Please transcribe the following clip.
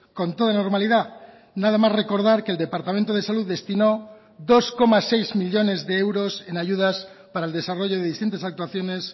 con toda normalidad nada más recordar que el departamento de salud destinó dos coma seis millónes de euros en ayudas para el desarrollo de distintas actuaciones